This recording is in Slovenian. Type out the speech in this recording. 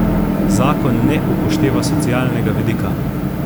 Zakon ne upošteva socialnega vidika.